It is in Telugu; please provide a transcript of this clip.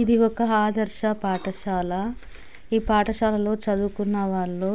ఇది ఒక ఆదర్శ పాటశాల ఈ పాటశాల లో చదువుకున్న వాళ్ళు